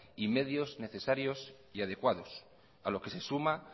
y medios necesarios y adecuados a lo que se suma